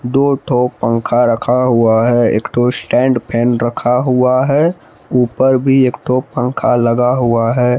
दो तो पंखा रखा हुआ है एक तो स्टैंड फैन रखा हुआ है ऊपर भी एक तो पंखा लगा हुआ है।